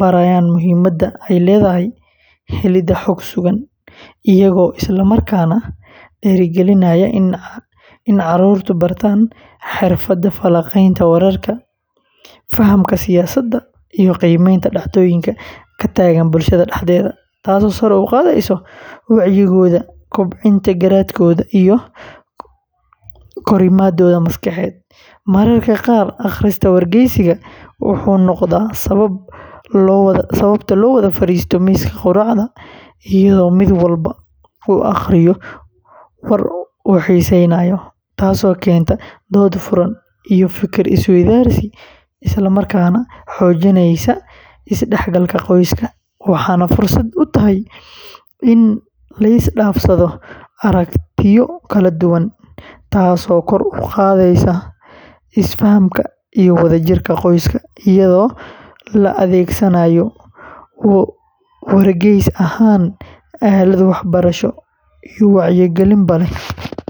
barayaan muhiimadda ay leedahay helidda xog sugan, iyagoo isla markaana dhiirrigelinaya in caruurtu bartaan xirfadda falanqaynta wararka, fahamka siyaasadda, iyo qiimeynta dhacdooyinka ka taagan bulshada dhexdeeda, taasoo sare u qaadaysa wacyigooda, kobcinta garaadkooda, iyo korriimadooda maskaxeed; mararka qaar, akhriska wargeyska wuxuu noqdaa sabab loo wada fariisto miiska quraacda iyadoo mid walba uu akhriyo war uu xiiseynayo, taasoo keenta dood furan iyo fikir-is-weydaarsi, isla markaana xoojinaysa is-dhexgalka qoyska, waxayna fursad u tahay in la isdhaafsado aragtiyo kala duwan, taasoo kor u qaadda isfahamka iyo wadajirka qoyska, iyadoo la adeegsanayo wargeys ahaan aalad waxbarasho iyo wacyigelinba leh.